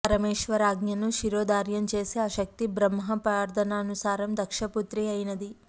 పరమేశ్వరాజ్ఞను శిరోధార్యం చేసి ఆ శక్తి బ్రహ్మ ప్రార్థనానుసారం దక్షపుత్రి అయినది